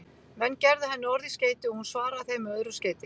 Menn gerðu henni orð í skeyti og hún svaraði þeim með öðru skeyti.